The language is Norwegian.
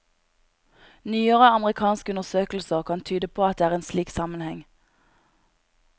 Nyere amerikanske undersøkelser kan tyde på at det er en slik sammenheng.